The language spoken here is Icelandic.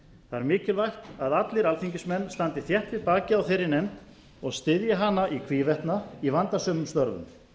er mikilvægt að allir alþingismenn standi þétt við bakið á þeirri nefnd og styðji hana í hvívetna í vandasömum störfum